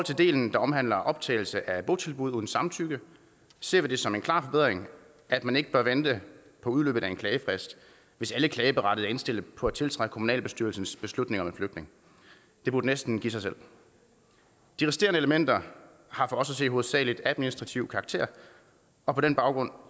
del der omhandler optagelse af botilbud uden samtykke ser vi det som en klar forbedring at man ikke bør vente på udløbet af en klagefrist hvis alle klageberettigede er indstillet på at tiltræde kommunalbestyrelsens beslutning om flytning det burde næsten give sig selv de resterende elementer har for os at se hovedsagelig administrativ karakter og på den baggrund